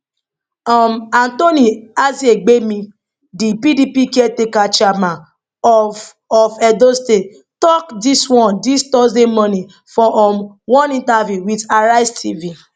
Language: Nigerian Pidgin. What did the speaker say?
um anthony aziegbemi di pdp caretaker chairman of of edo state tok dis one dis thursday morning for um one interview wit arise tv